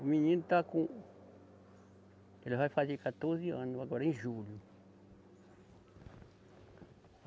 O menino está com, ele vai fazer quatorze anos agora, em julho.